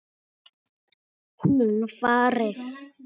Hún farið.